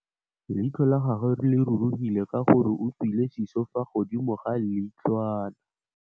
Leitlhô la gagwe le rurugile ka gore o tswile sisô fa godimo ga leitlhwana.